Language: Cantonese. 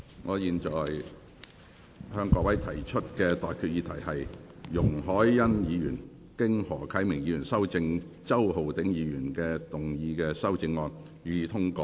我現在向各位提出的待議議題是：容海恩議員就經何啟明議員修正的周浩鼎議員議案動議的修正案，予以通過。